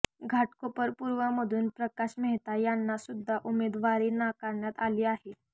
घाटकोपर पूर्वमधून प्रकाश मेहता यांना सुद्धा उमेदवारी नाकारण्यात आली आहे